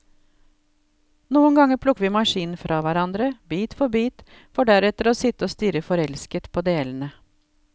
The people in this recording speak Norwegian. Noen ganger plukker vi maskinen fra hverandre, bit for bit, for deretter å sitte og stirre forelsket på delene.